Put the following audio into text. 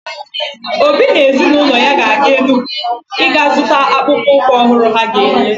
Obi na ezinụlọ ya ga-aga Enugwu iga zụta akpụkpọ ụkwụ ọhụrụ ha ga-ere.